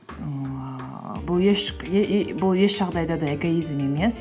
ііі бұл бұл еш жағдайда да эгоизм емес